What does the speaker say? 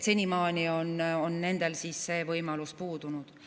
Senimaani on nendel see võimalus puudunud.